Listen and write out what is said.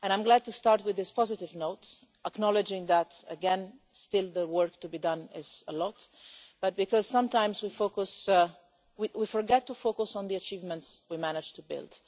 I'm glad to start with this positive note, acknowledging that again still the work to be done is a lot but because sometimes we forget to focus on the achievements we managed to build.